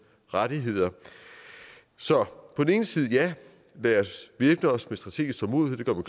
rettigheder så på den ene side lad os væbne os med strategisk tålmodighed og